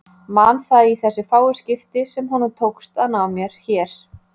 Man það í þessi fáu skipti sem honum tókst að ná mér hér.